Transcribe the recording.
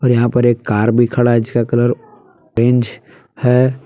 और यहां पर एक कार भी खड़ा है जिसका कलर ऑरेंज है।